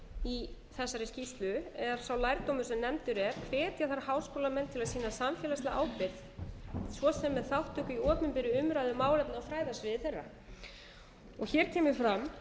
í þessari skýrslu er sá lærdómur sem nefndur er hvetja þarf háskólamenn til að sýna samfélagslega ábyrgð svo sem með þátttöku í opinni umræðu á fræðasviði þeirra hér kemur fram